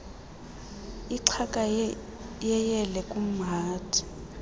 ixhaka yeyele kumhadi